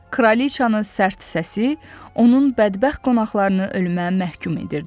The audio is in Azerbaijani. Kralıcanın sərt səsi, onun bədbəxt qonaqlarını ölümə məhkum edirdi.